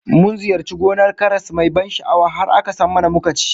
Mun ziyarci gonar karas mai ban sha'awa, har aka sam mana muka ci